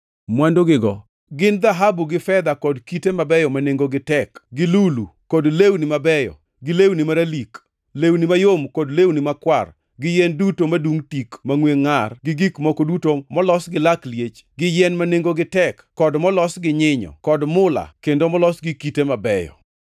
Mwandugigo gin: dhahabu gi fedha kod kite mabeyo ma nengogi tek gi lulu kod lewni mabeyo, gi lewni maralik, lewni mayom kod lewni makwar gi yien duto madungʼ tik mangʼwe ngʼar, gi gik moko duto molos gi lak liech, gi yien ma nengogi tek kod molos gi nyinyo, kod mula kendo molos gi kite mabeyo,